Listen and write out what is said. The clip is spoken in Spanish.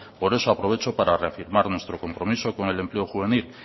por eso aprovecho para reafirmar nuestro compromiso con el empleo juvenil